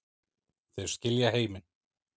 Þeir skilja heiminn